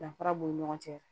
Danfara b'u ni ɲɔgɔn cɛ